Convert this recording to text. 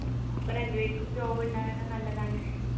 അപ്പൊ രണ്ടു പേർക്കും job ഉണ്ടാകുന്നത് നല്ലതാണ്